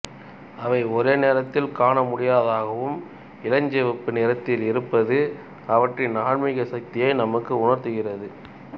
அவை ஒரே நேரத்தில் காணமுடியாதவையாகவும் இளஞ்சிவப்பு நிறத்தில் இருப்பதும் அவற்றின் ஆன்மீக சக்தியை நமக்கு உணர்த்துகின்றன